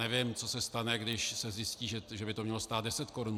Nevím, co se stane, když se zjistí, že by to mělo stát deset korun.